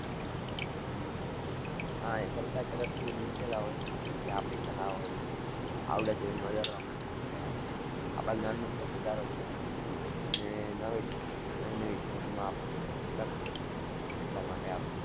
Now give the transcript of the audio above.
હા, એ સરકાર તરફથી મુકેલા હોય, જે આપણી કલા-આવડત હોય, એને વધારવા માટે મુકેલા હોય, આપણા જ્ઞાનમાં થોડોક વધારો થાય, અને નવી, નવી-નવી job માં આપણને તક મળે, એટલા માટે આ